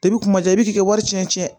kumaja i bɛ t'i ka wari cɛn cɛn